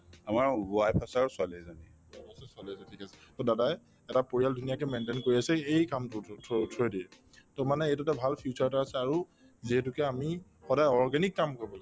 wife আছে ছোৱালী এজনী ঠিক আছে to দাদায়ে এটা পৰিয়াল ধুনীয়াকে maintain কৰি আছে এই কামটোৰ through through য়েদি to মানে এইটোতো ভাল future এটা আছে আৰু যিহেতুকে আমি সদায় organic কাম কৰিব লাগে